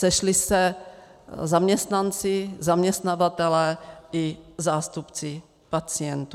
Sešli se zaměstnanci, zaměstnavatelé i zástupci pacientů.